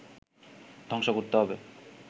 ধ্বংস করতে হবে